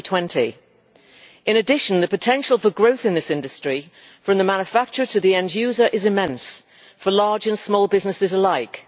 2020. In addition, the potential for growth in this industry, from the manufacturer to the end user, is immense for large and small businesses alike.